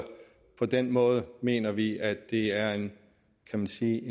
på den måde mener vi at det er en kan man sige